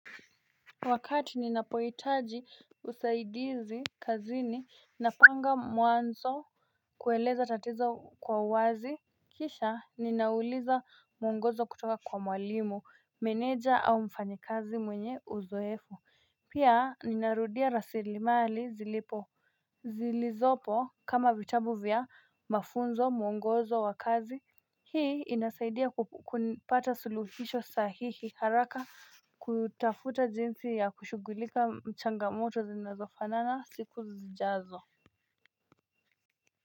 Wakati ninapohitaji usaidizi kazini na panga mwanzo kueleza tatizo kwa uwazi Kisha ninauliza mwongozo kutoka kwa mwalimu, meneja au mfanyikazi mwenye uzoefu Pia ninarudia rasilimali zilipo zilizopo kama vitabu vya mafunzo mwongozo wa kazi Hii inasaidia kupata suluhisho sahihi haraka kutafuta jinsi ya kushughulika mchangamoto zinazofanana siku zijazo.